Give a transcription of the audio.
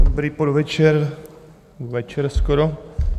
Dobrý podvečer, večer skoro.